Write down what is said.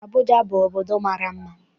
Abụja obodo mara mma.